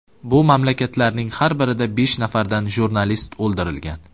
Bu mamlakatlarning har birida besh nafardan jurnalist o‘ldirilgan.